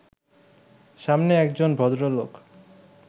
সামনে একজন ভদ্রলোক